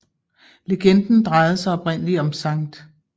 Legenden drejede sig oprindelig om Skt